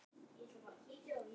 Liðið skipa þeir